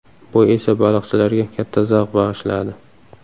Bu esa baliqchilarga katta zavq bag‘ishladi.